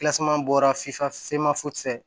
bɔra fifa finma fosi ye fɛ